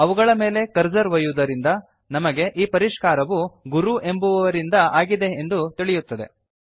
ಅವುಗಳ ಮೇಲೆ ಕರ್ಸರ್ ಒಯ್ಯುವುದರಿಂದ ನಮಗೆ ಈ ಪರಿಷ್ಕಾರವು ಗುರು ಎಂಬುವುವವರಿಂದ ಆಗಿದೆ ಎಂದು ತಿಳಿಯುತ್ತದೆ